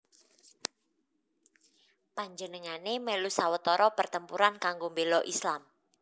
Panjenengané mèlu sawetara pertempuran kanggo mbéla Islam